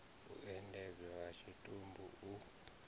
u endedzwa ha tshitumbu u